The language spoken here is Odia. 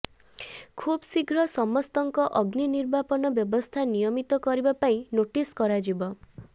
ଖୁବ୍ଶୀଘ୍ର ସମସ୍ତଙ୍କ ଅଗ୍ନି ନିର୍ବାପନ ବ୍ୟବସ୍ଥା ନିୟମିତ କରିବା ପାଇଁ ନୋଟିସ କରାଯିବ